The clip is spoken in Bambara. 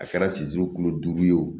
A kɛra siso kilo duuru ye wo